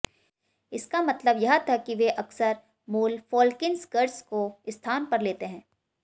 इसका मतलब यह था कि वे अक्सर मूल फ़ोल्क्सिंगर्स को स्थान पर लेते हैं